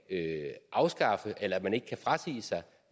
man ikke kan frasige sig